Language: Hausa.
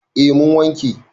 A mun wanke